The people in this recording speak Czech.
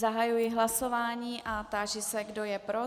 Zahajuji hlasování a táži se, kdo je pro.